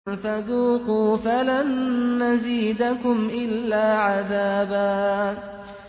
فَذُوقُوا فَلَن نَّزِيدَكُمْ إِلَّا عَذَابًا